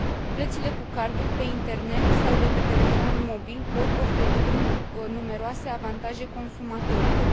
Plățile cu cardul pe internet sau de pe telefonul mobil pot oferi numeroase avantaje consumatorilor.